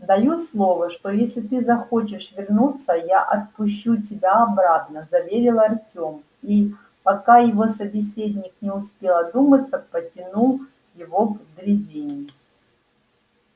даю слово что если ты захочешь вернуться я отпущу тебя обратно заверил артём и пока его собеседник не успел одуматься потянул его к дрезине